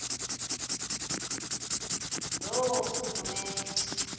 loorhulumente